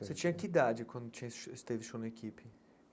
Você tinha que idade quando tinha esse teve show na equipe?